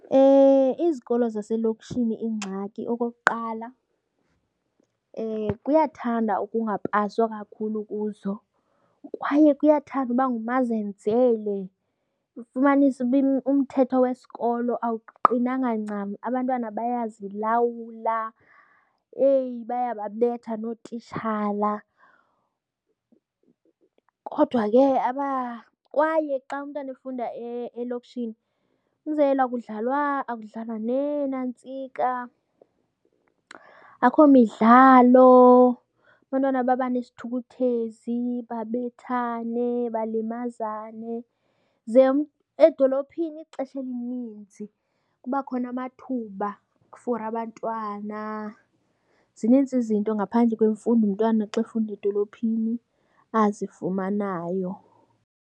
Izikolo zaselokishini ingxaki okokuqala kuyathanda ukungapaswa kakhulu kuzo kwaye kuyathanda uba ngumazenzele, ufumanise uba umthetho wesikolo awuqinanga ncam. Abantwana bayazilawula, eyi, bayababetha nootitshala. Kodwa ke kwaye xa umntwana efunda elokishini, umzekelo akudlalwa, akudlalwa neenantsika, akho midlalo. Abantwana baba nesithukuthezi, babethane balimazane. Ze edolophini ixesha elininzi kuba khona amathuba for abantwana. Zininzi izinto ngaphandle kwemfundo umntwana xa efunda edolophini azifumanayo.